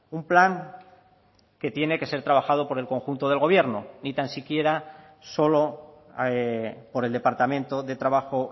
un plan que tiene que ser trabajado por el conjunto del gobierno ni tan siquiera solo por el departamento de trabajo